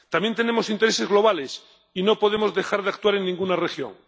También tenemos intereses globales y no podemos dejar de actuar en ninguna región.